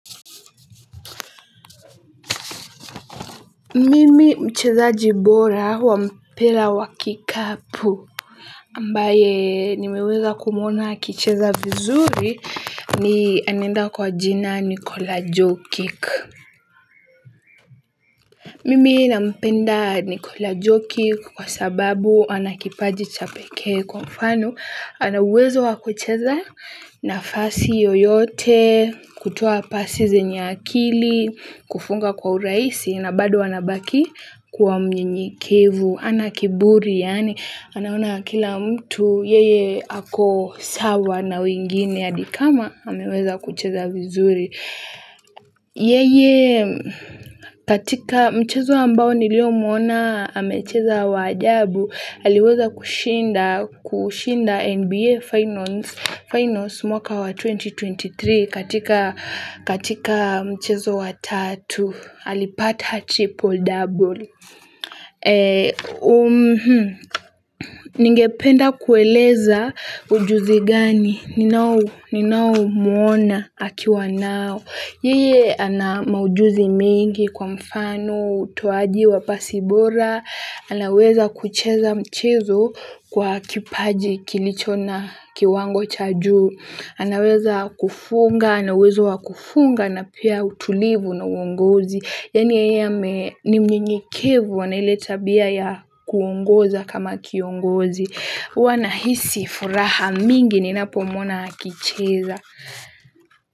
Mimi mchezaji bora wa mpira wa kikapu ambaye nimeweza kumwona akicheza vizuri ni anaenda kwa jina Nikola Jokic. Mimi na mpenda Nikola Jokic kwa sababu anakipaji cha peke kwa mfano. Ana uwezo wakucheza nafasi yoyote, kutoa pasi zenya akili, kufunga kwa urahisi, na bado anabaki kuwa mnyenyekevu. Hana kiburi yani anaona kila mtu yeye ako sawa na wengine hadi kama ameweza kucheza vizuri. Yeye katika mchezo ambayo niliyo mwona amecheza wa ajabu. Aliweza kushinda NBA Finals mwaka wa elfu mbili na ishirini na tatu katika mchezo wa tatu. Alipata triple double. Ningependa kueleza ujuzi gani, ninao mwona akiwa nao. Yeye ana maujuzi mingi kwa mfano, otoaji wa pasi bora, anaweza kucheza mchezo kwa kipaji kilicho na kiwango cha juu. Anaweza kufunga, ana uwezo wa kufunga na pia utulivu na uongozi. Yani ya ame ni mnyenyekevu ana ile tabia ya kuongoza kama kiongozi. Huwa nahisi furaha mingi ninapomwona akicheza.